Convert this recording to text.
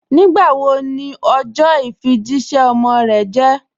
Nígbàwó ní ọjọ ifíjìṣẹ̀ ọmọ rẹ̀ jẹ̀?